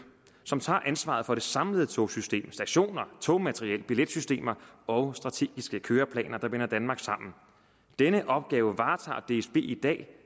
som tager ansvaret for det samlede togsystem stationer togmateriel billetsystem og strategiske køreplaner der binder danmark sammen denne opgave varetager dsb i dag